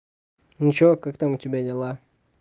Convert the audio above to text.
ничего как там у тебя дела